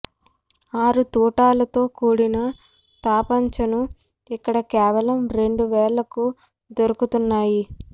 ఆరు తుటాలతో కూడిన తపంచాను ఇక్కడ కేవలం రెండు వేలకు దొరుకుతున్నాయి